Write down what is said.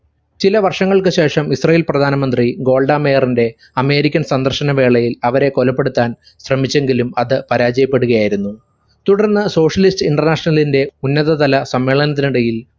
ചില വർഷങ്ങൾക്കു ശേഷം ഇസ്രായേൽ പ്രധാനമന്ത്രി ഗോൾഡാ മേയറിന്റെ american സന്ദർശന വേളയിൽ അവരെ കൊലപ്പെടുത്താൻ ശ്രമിച്ചെങ്കിലും അത് പരാജയപ്പെടുകയായിരുന്നു തുടർന്ന് socialist international ന്റെ ഉന്നത തല സമ്മേളനത്തിനിടയിൽ